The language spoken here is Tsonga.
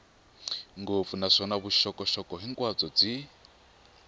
ngopfu naswona vuxokoxoko hinkwabyo byi